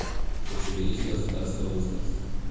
у тебя есть государство в государстве